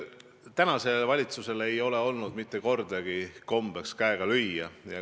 Tänasel valitsusel ei ole olnud kombeks käega lüüa.